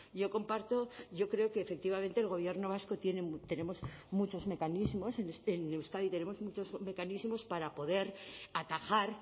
yo comparto yo creo que efectivamente el gobierno vasco tenemos muchos mecanismos en euskadi tenemos muchos mecanismos para poder atajar